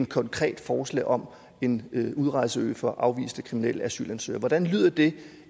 konkret forslag om en udrejseø for afviste kriminelle asylansøgere hvordan lyder det